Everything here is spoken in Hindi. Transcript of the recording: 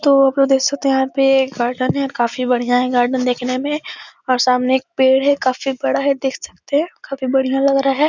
तो आप लोग देख सकते हैं यहाँ पे गार्डन है। काफी बढ़िया है गार्डन देखने में और सामने पेड़ है। काफी बड़ा है देख सकते हैं। काफी बढ़िया लग रहा है।